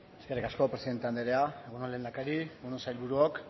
eskerrik asko presidente andrea egun on lehendakari egun on sailburuok